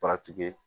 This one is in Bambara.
paratiki